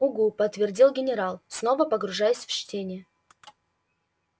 угу подтвердил генерал снова погружаясь в чтение